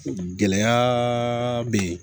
Gɛlɛya bɛ yen